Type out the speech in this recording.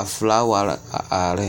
a felaaware a are ne